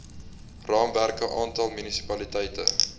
raamwerke aantal munisipaliteite